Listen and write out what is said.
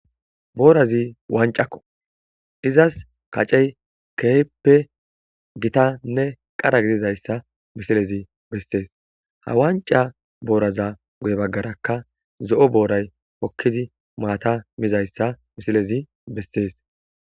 boorazi wancakko izas kacey keeppe gitanne qara gididayssa misilezi bestees ha wanca booraza guye baggaraka zo7o booray hokkidi maata mizayssa misilezi bestees